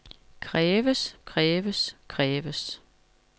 kræves kræves kræves